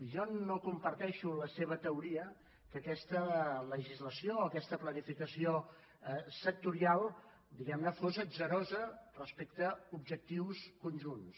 jo no comparteixo la seva teoria que aquesta legislació o aquesta planificació sectorial diguem ne fos atzarosa respecte a objectius conjunts